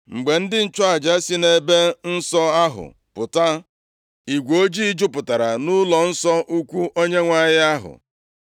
Mgbe ndị nchụaja si nʼEbe Nsọ ahụ pụta, igwe ojii jupụtara ụlọnsọ ukwu Onyenwe anyị ahụ.